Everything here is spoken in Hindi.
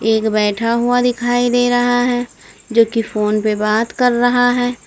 एक बैठा हुआ दिखाई दे रहा है जो कि फोन पे बात कर रहा है।